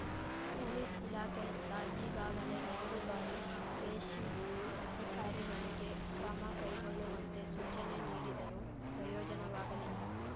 police ಇಲಾಖೆಯಿಂದ ಈಗಾಗಲೇ ಎರಡು ಬಾರಿ ಕೆಶಿಪ್ ಅಧಿಕಾರಿಗಳಿಗೆ ಕ್ರಮ ಕೈಗೊಳ್ಳುವಂತೆ ಸೂಚನೆ ನೀಡಿದರೂ ಪ್ರಯೋಜನವಾಗಲಿಲ್ಲ